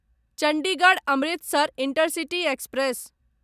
Chandigarh Amritsar intercity express